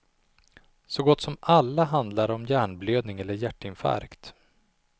Så gott som alla handlar om hjärnblödning eller hjärtinfarkt.